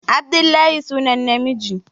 Abdullahi sunan namiji